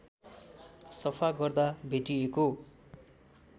सफा गर्दा भेटिएको